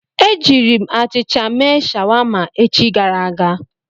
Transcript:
E jiiri m achịcha mee shawama echi gara aga.